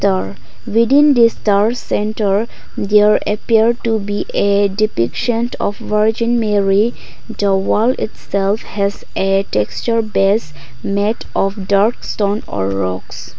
within these star centre their appeared to be a depiction of virgin mary the wall itself has a texture base made of dark stone a rocks.